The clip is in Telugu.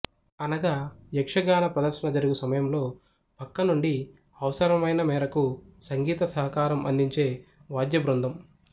అనగా యక్షగాన ప్రదర్శన జరుగు సమయంలో ప్రక్కనుండి అవసరమైన మేరకు సంగీత సహకారం అందించే వాద్యబృందం